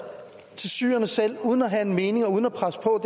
til syrerne selv uden at have en mening og uden at presse på